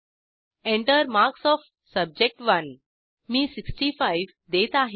Enter marks of subject मी 65 देत आहे